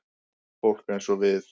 Fólk eins og við.